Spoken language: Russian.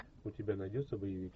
у тебя найдется боевик